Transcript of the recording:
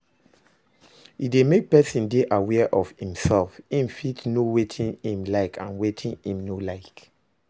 E de make persin de aware of imself im fit know wetin im like and wetin im no like